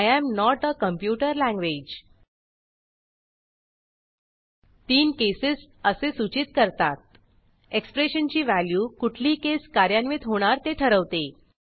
I am not a computer language तीन cases असे सूचित करतातः एक्सप्रेशनची व्हॅल्यू कुठली केस कार्यान्वित होणार ते ठरवते